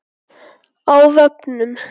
Á vefnum